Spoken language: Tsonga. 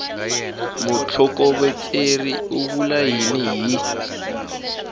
mutlhokovetseri u vula yini hi